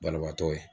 Banabaatɔ ye